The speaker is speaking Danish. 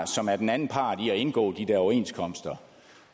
som er den anden part i at indgå de der overenskomster